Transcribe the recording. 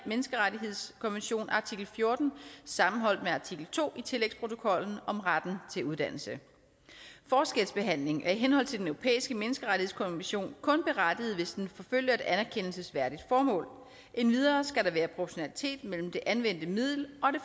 menneskerettighedskonventions artikel fjorten sammenholdt med artikel to i tillægsprotokollen om retten til uddannelse forskelsbehandling er i henhold til den europæiske menneskerettighedskonvention kun berettiget hvis den forfølger et anerkendelsesværdigt formål endvidere skal der være proportionalitet mellem det anvendte middel